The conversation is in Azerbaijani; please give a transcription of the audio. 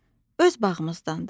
Öz bağımızdandır.